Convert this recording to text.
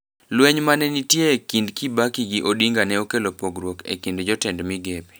Lweny mane nitie e kind Kibaki gi Odinga ne okelo pogruok e kind jotend migepe.